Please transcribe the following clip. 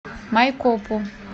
майкопу